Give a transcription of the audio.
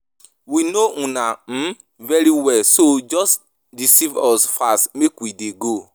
We no una um very well so just deceive us fast make we dey go